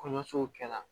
Kɔɲɔso kɛla